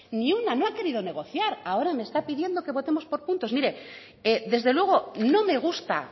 ni una no ha querido negociar ahora me está pidiendo que votemos por puntos mire desde luego no me gusta